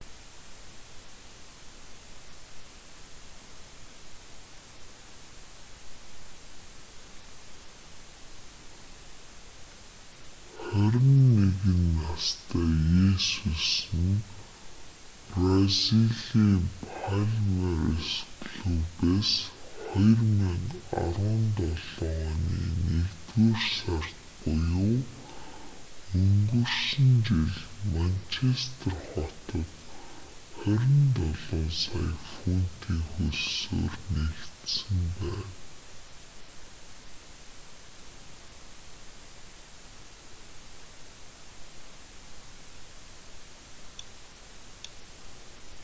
21 настай есүс нь бразилийн палмейрас клубээс 2017 оны нэгдүгээр сард буюу өнгөрсөн жил манчестер хотод 27 сая фунтын хөлсөөр нэгдсэн байна